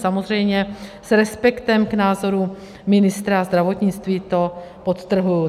Samozřejmě s respektem k názorům ministra zdravotnictví, to podtrhuji.